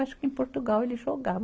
Acho que em Portugal eles jogavam.